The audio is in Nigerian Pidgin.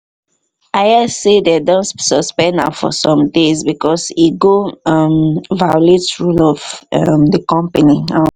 i hear say they don suspend am for some days because he go um violate rule of um the company um